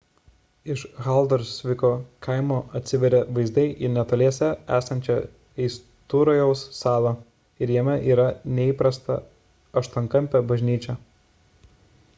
iš haldorsviko kaimo atsiveria vaizdai į netoliese esančią eisturojaus salą ir jame yra neįprasta aštuonkampė bažnyčia